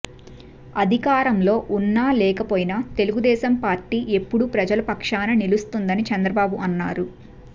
అధికారంలో ఉన్నా లేకపోయినా తెలుగుదేశం పార్టీ ఎప్పుడు ప్రజల పక్షానే నిలుస్తుందని చంద్రబాబు అన్నారు